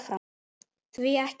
Því ekki?